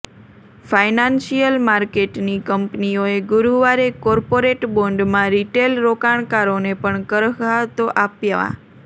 financial માર્કેટની કંપનીઓએ ગુરુવારે કોર્પોરેટ બોન્ડમાં રિટેલ રોકાણકારોને પણ કરરાહતો આપવા